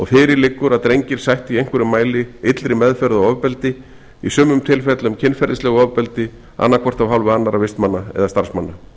fyrir liggur að drengir sættu í einhverjum mæli illri meðferð og ofbeldi í sumum tilfellum kynferðislegu ofbeldi annað hvort af hálfu annarra vistmanna eða starfsmanna